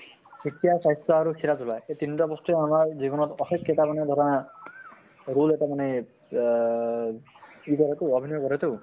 শিক্ষা স্বাস্থ্য আৰু খেলা ধুলা এই তিনিটা বস্তুয়ে আমাৰ জীৱনত অশেষ কেইটা মানে ধৰা rule এটা মানে আহ ই কৰে তো, অভিনয় কৰে তো